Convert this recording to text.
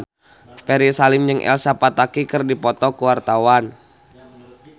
Ferry Salim jeung Elsa Pataky keur dipoto ku wartawan